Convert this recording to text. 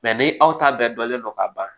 ni aw ta bɛɛ dɔnnen don k'a ban